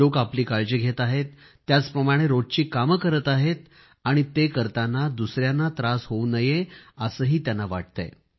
लोक आपली काळजी घेत आहेत त्याचप्रमाणे रोजची कामे करीत आहेत आणि ते करताना दुसयांना त्रास होवू नये असेही त्यांना वाटतेय